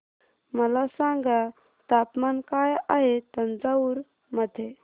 मला सांगा तापमान काय आहे तंजावूर मध्ये